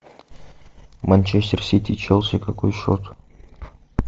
манчестер сити челси какой счет